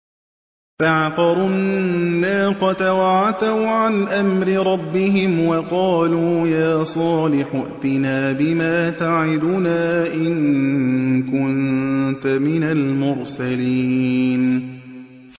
فَعَقَرُوا النَّاقَةَ وَعَتَوْا عَنْ أَمْرِ رَبِّهِمْ وَقَالُوا يَا صَالِحُ ائْتِنَا بِمَا تَعِدُنَا إِن كُنتَ مِنَ الْمُرْسَلِينَ